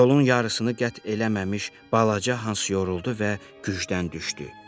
Yolun yarısını qət eləməmiş balaca Hans yoruldu və gücdən düşdü.